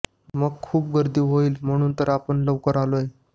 मग खूप गर्दी होईल म्हणून तर आपण लवकर आलोय